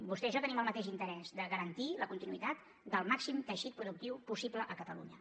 vostè i jo tenim el mateix interès de garantir la continuïtat del màxim teixit productiu possible a catalunya